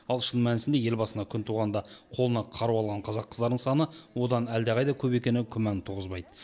ал шын мәнісінде ел басына күн туғанда қолына қару алған қазақ қыздарының саны одан әлдеқайда көп екені күмән туғызбайды